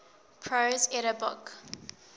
prose edda book